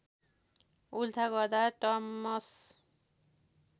उल्था गर्दा टमस